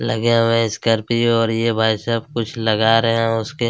लगे हुए हैं स्कॉर्पियो और यह भाई सब कुछ लगा रहै हैं उसके --